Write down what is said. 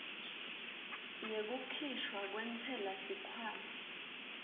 yekukhishwa kwentsela sikhwama